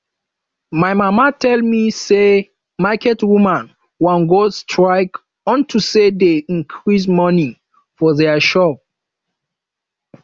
my mama tell me say market women wan go strike unto say dey increase money for their shop